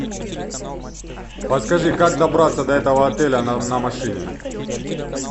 подскажи как добраться до этого отеля на машине